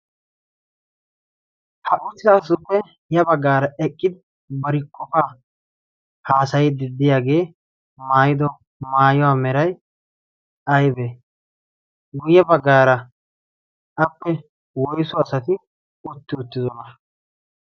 ha uttidaasuppe ya baggaara eqqidi bari qofaa haasayidi diyaagee maayido maayuwaa meray aybe guyye baggaara appe woyso asati utti uttidona